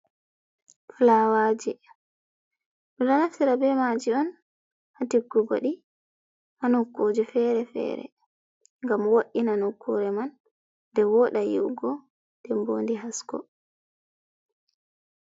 fulawaje ɗum ɗo naftira bemaji on ha tikgugo di ha nukkuje fere fere, gam wo’i na nokkure man, de woda yi’ugo den bo ɗi hasko.